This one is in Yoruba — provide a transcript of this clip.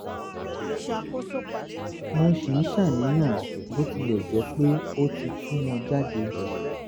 mo ṣì ń ṣàníyàn bó tilẹ̀ jẹ́ pé ó ti tu wọ́n jáde